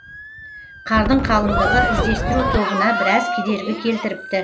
қардың қалыңдығы іздестеру тобына біраз кедергі келтіріпті